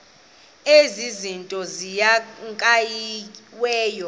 ezi zinto zikhankanyiweyo